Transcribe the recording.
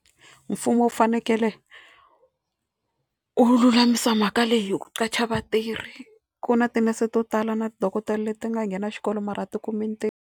Mfumo wu fanekele wu lulamisa mhaka leyi hi ku qacha vatirhi. Ku na tinese to tala na ti dokodela leti nga nghena xikolo mara a ti kumi ntirho.